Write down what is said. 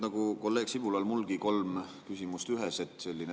Nagu kolleeg Sibulal, on mulgi kolm küsimust ühes.